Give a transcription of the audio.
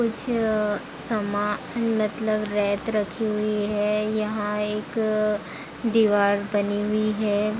कुछ अ सामान मतलब रेत रखी हुई है। यहाँ एक अ दीवार बनी हुई है।